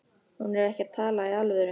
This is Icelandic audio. Hún er ekki að tala í alvöru.